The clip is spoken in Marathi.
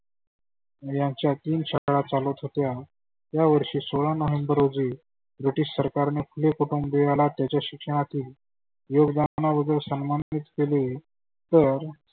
यांच्या तीन शाळा चालत होत्या. या वर्षी सोळा नोव्हेंबर रोजी british सरकारने फुले कुटुंबीयाला त्यांच्या शिक्षणाची योगदाना बद्दल सनमानीत केले तर